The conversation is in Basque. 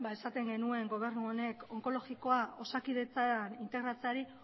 esaten genuen gobernu honek onkologikoa osakidetzan integratzeari